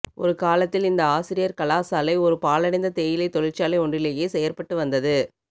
ஒரு காலத்தில் இந்த ஆசிரியர் கலாசாலை ஒரு பாழடைந்த தேயிலை தொழிற்சாலை ஒன்றிலேயே செயற்பட்டு வந்தது